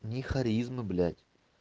ни харизмы блять